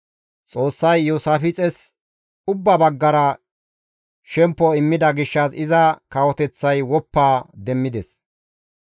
Xoossay Iyoosaafixes ubbaa baggara shemppo immida gishshas iza kawoteththay woppa demmides.